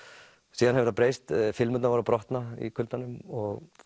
síðan hefur það breyst filmurnar voru að brotna í kuldanum og